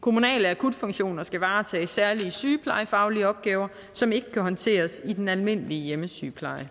kommunale akutfunktioner skal varetage særlige sygeplejefaglige opgaver som ikke kan håndteres i den almindelige hjemmesygepleje